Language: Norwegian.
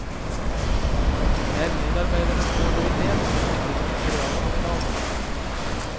Det er medarbeidernes kreativitet som er bedriftens realkapital.